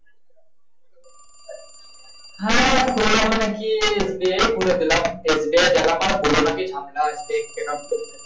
হ্যাঁ গিয়েই বলেদিলাম